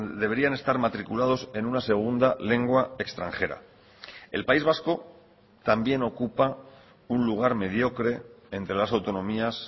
deberían estar matriculados en una segunda lengua extranjera el país vasco también ocupa un lugar mediocre entre las autonomías